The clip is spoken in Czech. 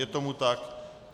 Je tomu tak.